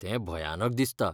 तें भयानक दिसता.